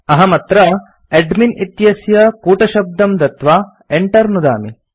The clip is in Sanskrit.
अहमत्र एडमिन् इत्यस्य कूटशब्दं दत्वा enter नुदामि